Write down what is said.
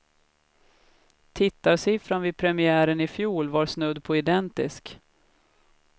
Tittarsiffran vid premiären i fjol var snudd på identisk.